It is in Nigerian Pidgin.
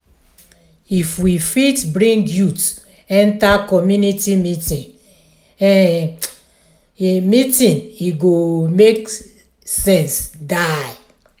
if we fit bring youth enter community meeting e meeting e go make sense die.